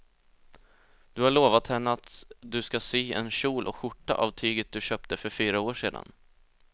Du har lovat henne att du ska sy en kjol och skjorta av tyget du köpte för fyra år sedan.